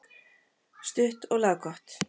Stutt og laggott.